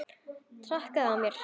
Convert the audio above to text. Traðka á mér!